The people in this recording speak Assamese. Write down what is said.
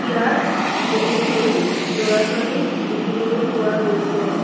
ইয়াত বহুতো ল'ৰা-ছোৱালী দেখিবলৈ পোৱা গৈছে।